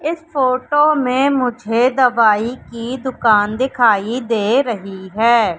इस फोटो में मुझे दवाई की दुकान दिखाई दे रही है।